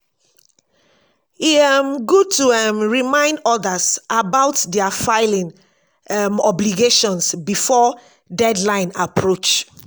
e um good to um remind others about their filing um obligations before deadline approach.